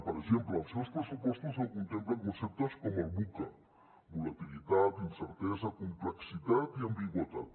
per exemple els seus pressupostos no contemplen conceptes com el vuca volatilitat incertesa complexitat i ambigüitat